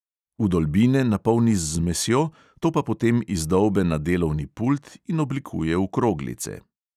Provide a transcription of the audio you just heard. Vdolbine napolni z zmesjo, to pa potem izdolbe na delovni pult in oblikuje v kroglice.